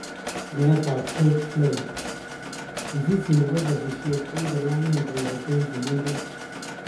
Met ap George floyd:mzizi nepo sasisiet kokikolayn kongeten kimengech